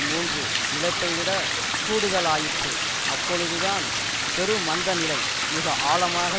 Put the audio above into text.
மூன்று இழப்பை விட கூடுதலாயிற்று அப்பொழுதுதான் பெருமந்த நிலை மிகஆழமாக